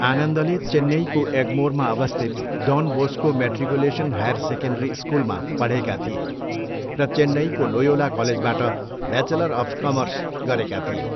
आनन्दले चेन्नईको एग्मोरमा अवस्थित Don Bosco matriculation higher secondary स्कुलमा पढेका थिए र चेन्नईको लोयोला कलेजबाट ब्याचलर अफ कमर्स गरेका थिए।